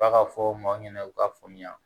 F'a ka fɔ maaw ɲɛna u k'a faamuya